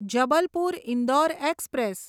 Jabalpur Indore express